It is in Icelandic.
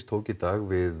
tók í dag við